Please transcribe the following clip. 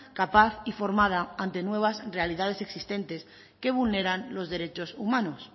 capaz y formada ante nuevas realidades existentes que vulneran los derechos humanos